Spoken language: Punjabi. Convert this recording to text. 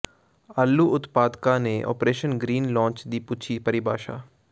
ਆਲੂ ਉਤਪਾਦਕਾਂ ਨੇ ਆਪ੍ਰੇਸ਼ਨ ਗ੍ਰੀਨ ਲਾਂਚ ਦੀ ਪੁੱਛੀ ਪਰਿਭਾਸ਼ਾ